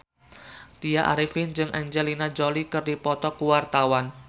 Tya Arifin jeung Angelina Jolie keur dipoto ku wartawan